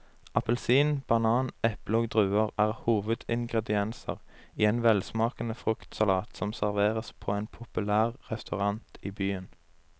Appelsin, banan, eple og druer er hovedingredienser i en velsmakende fruktsalat som serveres på en populær restaurant i byen.